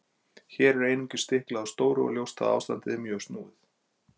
Hér er einungis stiklað á stóru og ljóst að ástandið er mjög snúið.